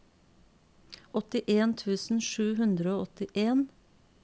åttien tusen sju hundre og åttien